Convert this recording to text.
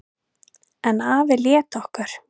En afi lét okkur